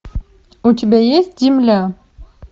у тебя есть земля